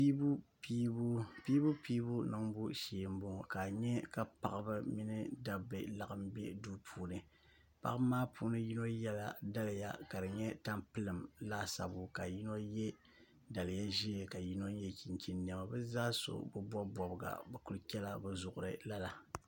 piibupiibu niŋbu shee m-bɔŋɔ ka nya ka paɣiba mini dabba laɣim be duu puuni paɣiba maa puuni yino yɛla daliya ka di nyɛ tampilim laasabu ka yino ye daliya ʒee ka yino chinchini nema bɛ zaa so bi bɔbi bɔbiga bɛ kuli chɛla bɛ zuɣiri lala